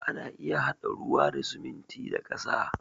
Ana iya haɗa ruwa da siminti da ƙasa